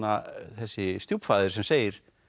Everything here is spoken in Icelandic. þessi stjúpfaðir sem segir